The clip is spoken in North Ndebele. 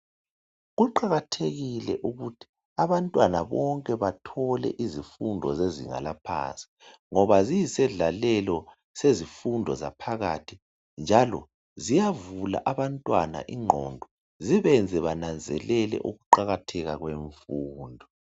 Kuqakathekile ukuthi abantwana bonke bathole izifundo zezinga laphansi ngoba ziyisendlalelo sezifundo zaphakathi njalo ziyavula abantwana ingqondo zibenze benanzelele ukuqakatheka kwemfundo.